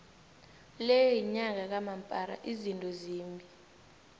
le yinyanga kamampara izinto zimbi